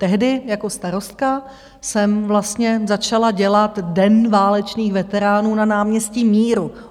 Tehdy jako starostka jsem vlastně začala dělat Den válečných veteránů na náměstí Míru.